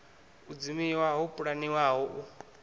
u dzimiwa ho pulaniwaho u